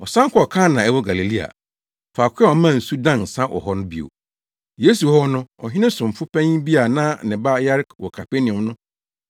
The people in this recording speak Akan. Ɔsan kɔɔ Kana a ɛwɔ Galilea, faako a ɔmaa nsu dan nsa hɔ no bio. Yesu wɔ hɔ no ɔhene somfo panyin bi a na ne ba yare wɔ Kapernaum no